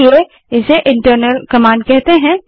इसलिए इसे internal command कहते हैं